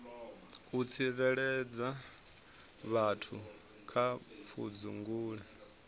u tsireledza vhathu kha pfudzungule